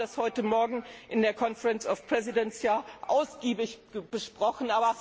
schiebt. Wir haben das heute Morgen in der Konferenz der Präsidenten ja ausgiebig besprochen.